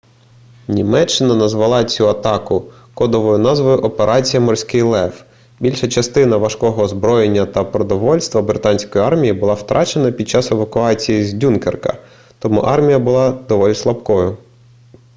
німеччина назвала цю атаку кодовою назвою операція морський лев більша частина важкого озброєння та продовольства британської армії була втрачена під час евакуації з дюнкерка тому армія була доволі слабкою